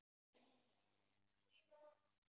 KAFLI SEX